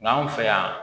Nga anw fɛ yan